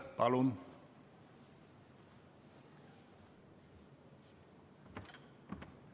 Palun!